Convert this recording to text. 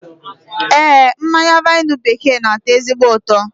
Ee, mmanya vaịnụ bekee n'atọ ezigbo ụtọ